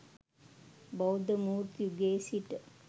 බෞද්ධ මූර්ති යුගයේ සිට